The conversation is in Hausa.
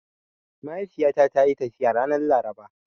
Mahaifiyata tayi tafiya ranar Laraba.